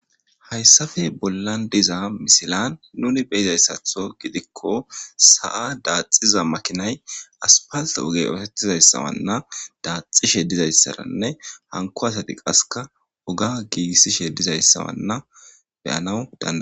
hayssafe bollan diza misilan nuni beyizayssatho gidikko sa7a daaxiza makinay aspalt ogey ootettizayssawanna daaxishe dizayssaranne hanko asati qaseka woga giigissishe dizayssawanna beyanaw daa